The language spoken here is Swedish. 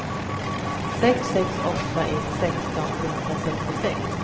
sex sex åtta ett sexton trehundrasextiosex